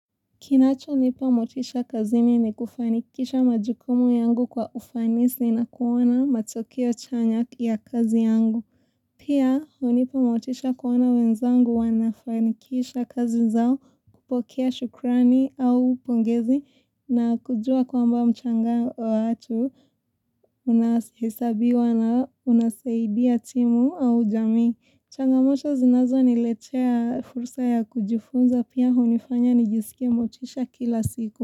Kinachonipa motisha kazini ni kufanikisha majukumu yangu kwa ufanisi na kuona matokeo chanya ya kazi yangu. Pia, hunipa motisha kuona wenzangu wanafanikisha kazi zao kupokea shukrani au pongezi na kujua kwamba mchanga watu unahisabiwa na unasaidia timu au jamii. Changamoto zinazoniletea fursa ya kujifunza pia hunifanya nijisikie motisha kila siku.